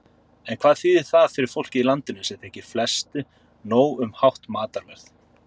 En hvað þýðir það fyrir fólkið í landinu, sem þykir flestu nóg um hátt matarverð?